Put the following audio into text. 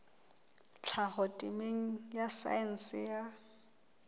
tlhaho temeng ya saense ya